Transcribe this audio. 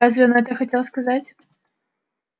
разве он это хотел сказать